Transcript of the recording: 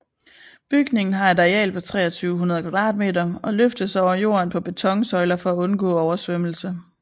Bygningen har et areal på 2300 kvadratmeter og løftes over jorden på betonsøjler for at undgå oversvømmelse